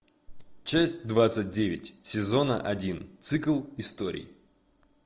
часть двадцать девять сезона один цикл историй